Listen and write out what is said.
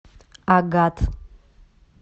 агат